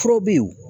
Furaw bɛ ye o